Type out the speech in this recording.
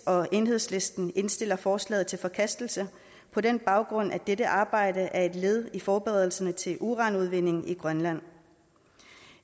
og enhedslisten indstiller forslaget til forkastelse på den baggrund at dette arbejde er et led i forberedelserne til uranudvinding i grønland